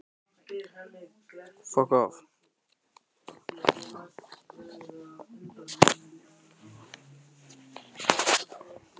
Loks tók pabbi af skarið í símanum.